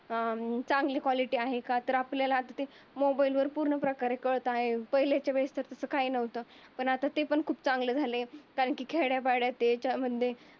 अं चांगली कॉलिटी आहे का? तर आपल्याला मोबाईलवर पूर्ण प्रकारे कळत आहे. पहिलीच्या वेळेस तसं काही नव्हतं. पण आता ते पण खूप चांगलं झालंय कारण की खेड्यापाड्या ते त्याचे मध्ये